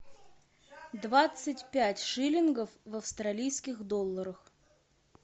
двадцать пять шиллингов в австралийских долларах